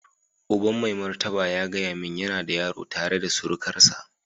Uban mai martaba ya gaya min yana da yaro tare da surukarsa.